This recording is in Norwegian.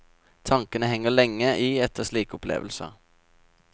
Tankene henger lenge i etter slike opplevelser.